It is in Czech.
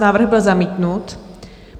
Návrh byl zamítnut.